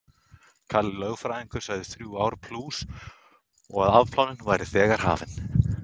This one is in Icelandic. Kalli lögfræðingur sagði þrjú ár plús og að afplánun væri þegar hafin.